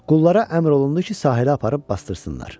Qullara əmr olundu ki, sahilə aparıb basdırsınlar.